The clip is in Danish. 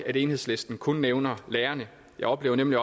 at enhedslisten kun nævner lærerne jeg oplever nemlig